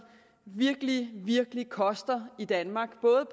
virkelig virkelig koster i danmark både